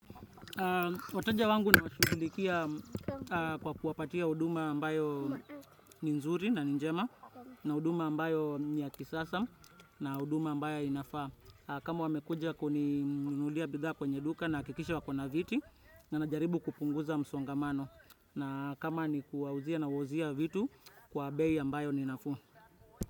Wateja wangu nawashughulikia kwa kuwapatia huduma ambayo ni nzuri na ni njema na huduma ambayo ni ya kisasa na huduma ambayo inafaa. Kama wamekuja kuninunulia bidhaa kwenye duka nahakikisha wakona viti na najaribu kupunguza msongamano na kama ni kuawauzia nawauzia vitu kwa bei ambayo ni nafuu.